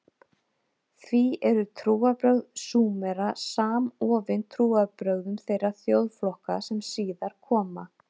Því eru trúarbrögð Súmera samofin trúarbrögðum þeirra þjóðflokka sem síðar koma.